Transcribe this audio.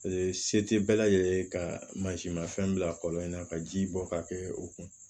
se tɛ bɛɛ lajɛlen ye ka mansinmafɛn bila kɔlɔn in na ka ji bɔ ka kɛ o kun